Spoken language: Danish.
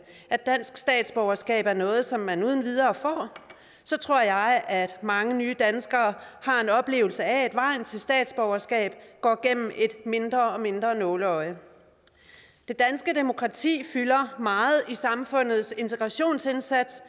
at dansk statsborgerskab er noget som man uden videre får så tror jeg at mange nye danskere har en oplevelse af at vejen til statsborgerskab går gennem et mindre og mindre nåleøje det danske demokrati fylder meget i samfundets integrationsindsats